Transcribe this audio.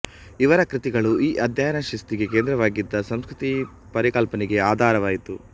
ಇವರ ಕೃತಿಗಳು ಈ ಅಧ್ಯಯನಶಿಸ್ತಿಗೆ ಕೇಂದ್ರವಾಗಿದ್ದ ಸಂಸ್ಕೃತಿ ಪರಿಕಲ್ಪನೆಗೆ ಆಧಾರವಾಯಿತು